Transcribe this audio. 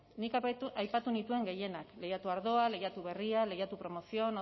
nik aipatu nituen gehienak lehiatu ardoa lehiatu berria lehiatu promoción